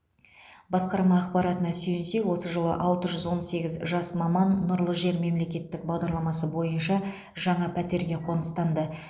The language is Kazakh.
басқарма ақпаратына сүйенсек осы жылы алты жүз он сегіз жас маман нұрлы жер мемлекеттік бағдарламасы бойынша жаңа пәтерге қоныстанды